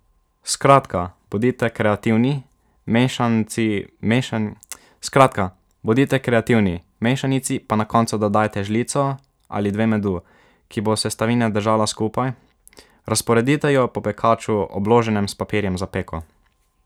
Skratka, bodite kreativni, mešanici pa na koncu dodajte žlico ali dve medu, ki bo sestavine držala skupaj, razporedite jo po pekaču, obloženem s papirjem za peko.